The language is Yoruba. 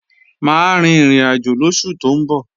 Mà á rin ìrìnàjò lóṣù tó ń bọ̀